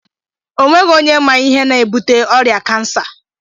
Onweghi onye ma ihe na-ebute ọrịa kansa